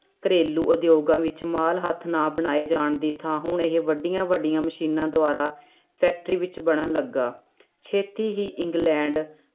ਘਰੇਲੂ ਉਦਯੋਗਾਂ ਵਿੱਚ ਮਾਲ ਹੱਥ ਨਾ ਬਣਾਏ ਜਾਣ ਦੀ ਥਾਂ ਹੁਣ ਇਹ ਵੱਡੀਆਂ ਵੱਡੀਆਂ ਮਸ਼ੀਨਾਂ ਦੁਆਰਾ ਫ਼ੈਕਟਰੀ ਵਿੱਚ ਬਣਨ ਲੱਗਾ ਛੇਤੀ ਹੀ ਇੰਗਲੈਂਡ